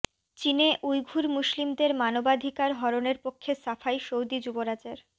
চীনে উইঘুর মুসলিমদের মানবাধিকার হরণের পক্ষে সাফাই সৌদি যুবরাজের